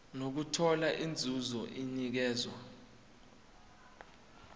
nokuthola inzuzo enikezwa